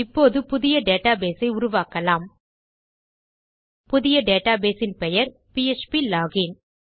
இப்போது புதிய டேட்டாபேஸ் ஐ உருவாக்கலாம் புதிய டேட்டாபேஸ் இன் பெயர் பிஎச்பி லோகின்